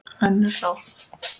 Önnur ráð